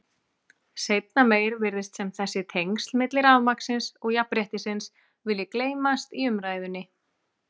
Seinna meir virðist sem þessi tengsl milli rafmagnsins og jafnréttisins vilji gleymast í umræðunni.